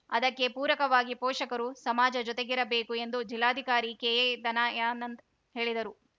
ಅದಕ್ಕೆ ಪೂರಕವಾಗಿ ಪೋಷಕರು ಸಮಾಜ ಜೊತೆಗಿರಬೇಕು ಎಂದು ಜಿಲ್ಲಾಧಿಕಾರಿ ಕೆಎದನಯಾನಂದ್‌ ಹೇಳಿದರು